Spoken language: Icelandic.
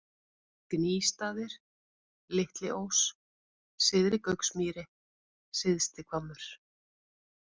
Gnýstaðir, Litli-Ós, Syðri-Gauksmýri, Syðsti-Hvammur